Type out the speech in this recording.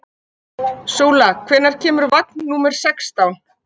Súla, hvenær kemur vagn númer sextán?